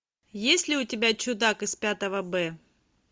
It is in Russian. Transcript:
есть ли у тебя чудак из пятого б